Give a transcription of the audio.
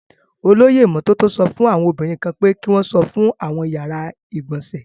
Olóyè ìmọ́tótó sọ fún àwọn obìnrin kan pé kí wọn fọ àwọn yàrá ìgbọ̀nsẹ̀.